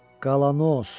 Galanos!